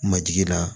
Majigi la